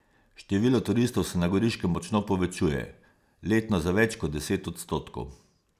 Število turistov se na Goriškem močno povečuje, letno za več kot deset odstotkov.